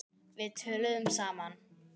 Við töluðum saman.